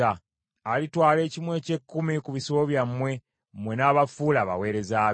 Alitwala ekimu eky’ekkumi ku bisibo byammwe, mmwe n’abafuula abaweereza be.